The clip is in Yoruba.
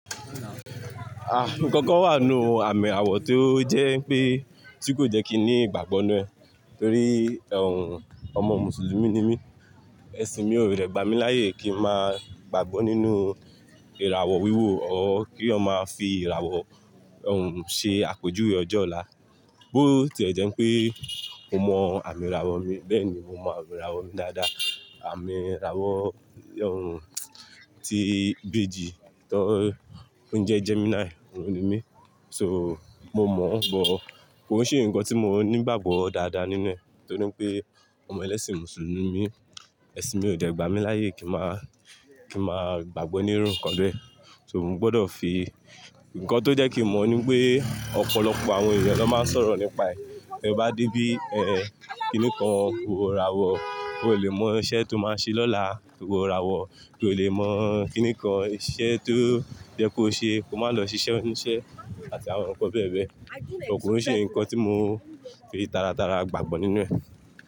Nkankan wà nínú àmì àwọ̀ tí ó jẹ́ pé tí kò jẹ́ kí n ní ìgbàgbọ́ ninu ẹ torí ọmọ Mùsùlùmí ni mí. Ẹ̀sìn mi ò dẹ̀ gbá mi láyè kí ń máa gbàgbọ́ nínú ìràwọ̀ wíwò tabi kí eeyan máa fi ìràwọ̀ ṣe àpejùwe ojọ ọ̀la. Bó tí e jẹ́ pé mo mọ àmì ìràwọ̀ mi, bẹ́ẹ̀ni mo mọ ami ìràwọ̀ mi dáadáa. Àmì ìràwọ̀ tó ń jẹ́ Gemini ọ̀hún ni mí. Mo mọ̀ sugbon kò ṣe ǹkan tí mo ní ìgbàgbọ́ dáadáa nínú ẹ torí pé ọmọ ẹlẹ́sìn Mùsùlùmí mi. Ẹ̀sìn mi ò de gbámi láyè kí ń máa gbàgbọ́ nínú ǹkan bẹ. Mo gbọdọ̀ fi ǹkan tó jẹ́ kí n mo nípé ọ̀pọ̀lọpọ̀ àwọn ènìyàn ló máa ń sọ̀rọ̀ nípa ẹ. Te bá débí ẹ́, kiní kan wo irawọ̀, ki ò lè mọ iṣẹ́ tó máa ṣe lọ́la, wo irawọ̀, ki ò lè mọ kiní kan iṣẹ́ tó ye kó ṣe, kò máa lọ ṣiṣẹ́ oníṣẹ́ àti àwọn ǹkan bẹ́ẹ̀ bẹ́ẹ̀. Kò ṣe ǹkan tí mo fi tara tara gbàgbọ́ nínú ẹ.